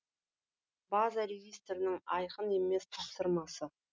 база регистрінің айқын емес тапсырмасы